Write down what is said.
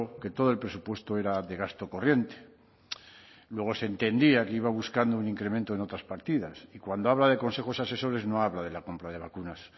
que todo el presupuesto era de gasto corriente luego se entendía que iba buscando un incremento en otras partidas y cuando habla de consejos asesores no habla de la compra de vacunas